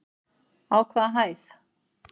Á hvaða hæð?